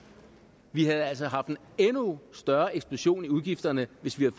vi havde altså haft en endnu større eksplosion i udgifterne hvis vi